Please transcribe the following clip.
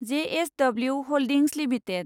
JSW holdings limited